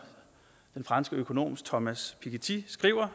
den franske økonom thomas piketty skriver